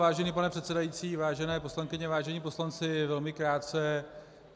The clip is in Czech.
Vážený pane předsedající, vážené poslankyně, vážení poslanci, velmi krátce.